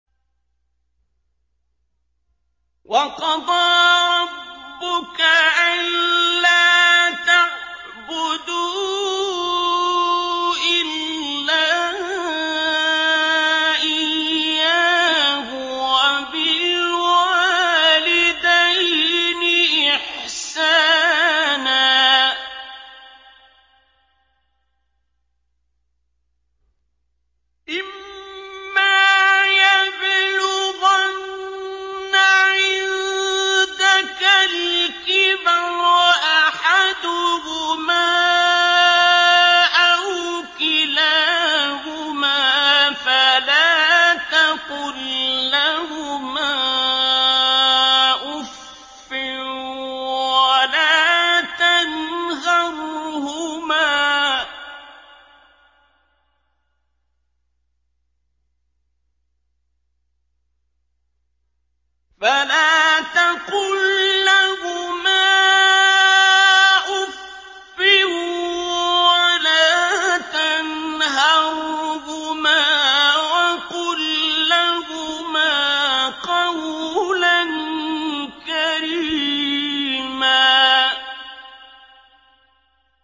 ۞ وَقَضَىٰ رَبُّكَ أَلَّا تَعْبُدُوا إِلَّا إِيَّاهُ وَبِالْوَالِدَيْنِ إِحْسَانًا ۚ إِمَّا يَبْلُغَنَّ عِندَكَ الْكِبَرَ أَحَدُهُمَا أَوْ كِلَاهُمَا فَلَا تَقُل لَّهُمَا أُفٍّ وَلَا تَنْهَرْهُمَا وَقُل لَّهُمَا قَوْلًا كَرِيمًا